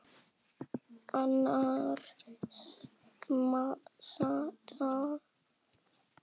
Annars staðnar maður bara.